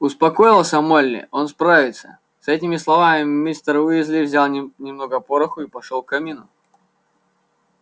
успокоился молли он справится с этими словами мистер уизли взял нем немножко пороху и пошёл к камину